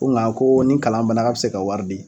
Ko nka ko nin kalan bana k'a bɛ se ka wari di.